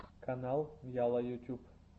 канал яла ютюб